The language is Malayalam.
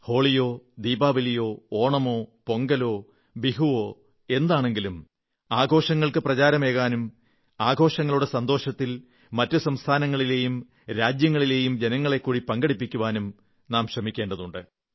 ഹോളിയോ ദീപാവലിയോ ഓണമോ പൊങ്കലോ ബിഹുവോ എന്താണെങ്കിലും ആഘോഷങ്ങൾക്ക് പ്രചാരമേകാനും ആഘോഷങ്ങളുടെ സന്തോഷത്തിൽ മറ്റു സംസ്ഥാനങ്ങളിലെയും രാജ്യങ്ങളിലെയും ജനങ്ങളെക്കൂടി പങ്കെടുപ്പിക്കുവാനും നാം ശ്രമിക്കേണ്ടതാണ്